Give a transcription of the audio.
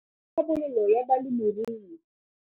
le Tlhabololo ya Balemirui.